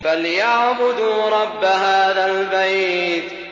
فَلْيَعْبُدُوا رَبَّ هَٰذَا الْبَيْتِ